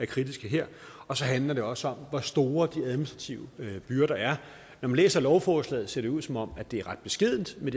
kritisk her og så handler det også om hvor store de administrative byrder er når man læser lovforslaget ser det ud som om det er ret beskedent med